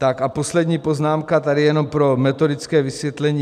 Tak a poslední poznámka, tady jenom pro metodické vysvětlení.